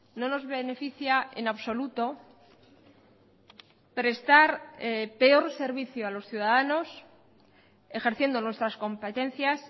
no nos beneficia en absoluto prestar peor servicio a los ciudadanos ejerciendo nuestras competencias